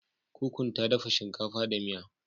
Kukun ta dafa shinkafa da miya.